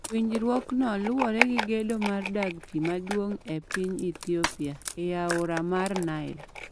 Winjruokno luwore gi gedo mar dag pi maduong' e piny Ethiopia e aora mar Nile.